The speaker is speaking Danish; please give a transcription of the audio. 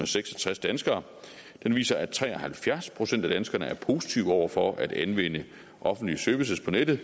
seks og tres danskere viser at tre og halvfjerds procent af danskerne er positive over for at anvende offentlige services på nettet